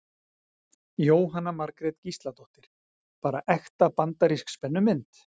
Jóhanna Margrét Gísladóttir: Bara ekta bandarísk spennumynd?